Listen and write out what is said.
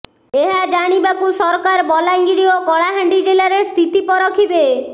ଏହା ଜାଣିବାକୁ ସରକାର ବଲାଙ୍ଗିର ଓ କଳାହାଣ୍ଡି ଜିଲ୍ଲାରେ ସ୍ଥିତି ପରଖିବେ